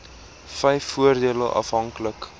wvf voordele afhanklik